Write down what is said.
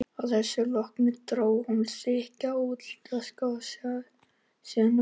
Að þessu loknu dró hún þykka ullarsokka upp úr svuntuvasa og færði hann í.